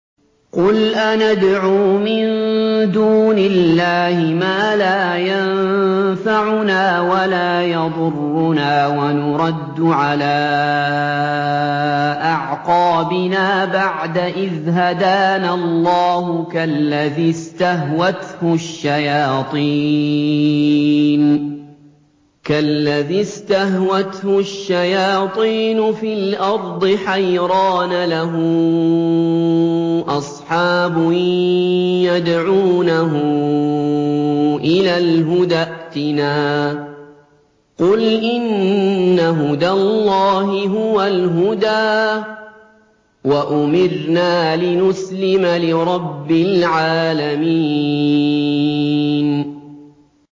قُلْ أَنَدْعُو مِن دُونِ اللَّهِ مَا لَا يَنفَعُنَا وَلَا يَضُرُّنَا وَنُرَدُّ عَلَىٰ أَعْقَابِنَا بَعْدَ إِذْ هَدَانَا اللَّهُ كَالَّذِي اسْتَهْوَتْهُ الشَّيَاطِينُ فِي الْأَرْضِ حَيْرَانَ لَهُ أَصْحَابٌ يَدْعُونَهُ إِلَى الْهُدَى ائْتِنَا ۗ قُلْ إِنَّ هُدَى اللَّهِ هُوَ الْهُدَىٰ ۖ وَأُمِرْنَا لِنُسْلِمَ لِرَبِّ الْعَالَمِينَ